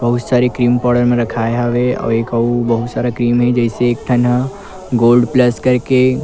बहुत सारे cream powder मन रखाए हवे अउ बहुत सारा क्रीम हे जइसे एक ठन ह गोल्ड प्लस करके--